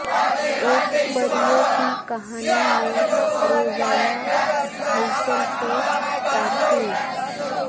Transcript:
ایک پریوں کی کہانی میں روزانہ ہلچل سے تعطیل